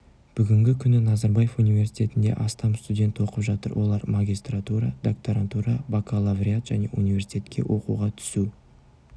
бүгінгі күні назарбаев уинверситетінде астам студент оқып жатыр олар магистратура докторантура бакалавриат және университетке оқуға түсу